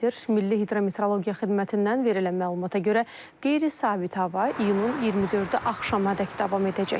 Milli hidrometeorologiya xidmətindən verilən məlumata görə qeyri-sabit hava iyulun 24-ü axşamadək davam edəcək.